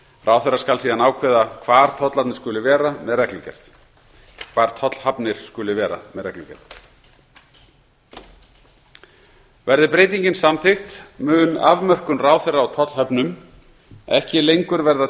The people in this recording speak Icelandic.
ráðherra skal síðan ákveða með reglugerð hvar tollhafnir skuli vera verði breytingin samþykkt mun afmörkun ráðherra á tollhöfnum ekki lengur verða